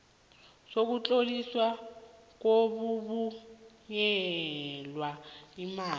sokutloliswa kokubuyiselwa imali